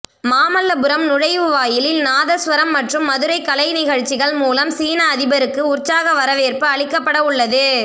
மாமல்லபுரம் நுழைவு வாயிலில் நாதஸ்வரம் மற்றும் மதுரை கலைநிகழ்ச்சிகள் மூலம் சீன அதிபருக்கு உற்சாக வரவேற்பு அளிக்கப்பட உள்ளது